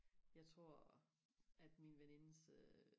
jeg tror at min venindes øh